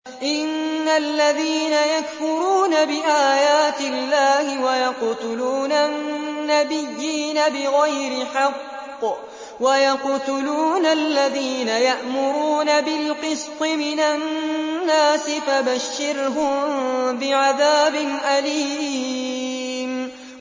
إِنَّ الَّذِينَ يَكْفُرُونَ بِآيَاتِ اللَّهِ وَيَقْتُلُونَ النَّبِيِّينَ بِغَيْرِ حَقٍّ وَيَقْتُلُونَ الَّذِينَ يَأْمُرُونَ بِالْقِسْطِ مِنَ النَّاسِ فَبَشِّرْهُم بِعَذَابٍ أَلِيمٍ